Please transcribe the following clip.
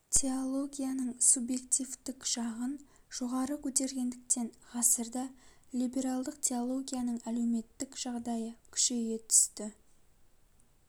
теологияның субъективтік жағын жоғары көтергендіктен ғасырда либералдық теологияның әлеуметтік жағдайы күшейе түсті